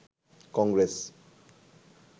Congress